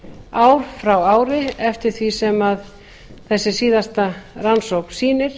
ár frá ári eftir því sem þessi síðasta rannsókn sýnir